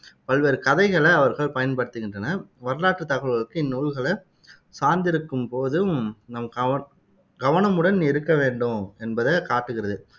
பல்வேறு கதைகளை அவர்கள் பயன்படுத்துகின்றனர் வரலாற்றுத் தகவல்களுக்கு இந்நூல்களை சார்ந்திருக்கும் போதும் நாம் கவன் கவனமுடன் இருக்க வேண்டும் என்பதை காட்டுகிறது